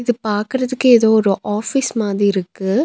இது பாக்குறதுக்கு ஏதோ ஒரு ஆபீஸ் மாதி இருக்கு.